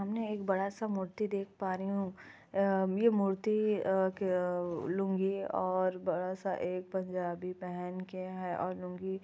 सामने एक बड़ा सा मूर्ति देख पा रही हूं। या मूर्ति अ-ए लुंगी और बड़ा सा एक पंजाबी पहन के है और लुंगी--